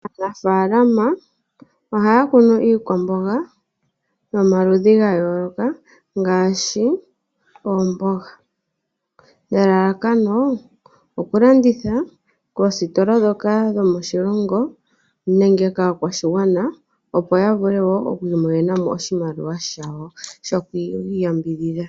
Aanafaalama ohaya kunu iikwamboga yomaludhi ga yooloka ngaashi oomboga nelalakano oku landitha koositola ndhoka dhomoshilongo nenge kaakwashigwana, opo ya vule wo oku imonena oshimaliwa shawo shoku iyambidhidha.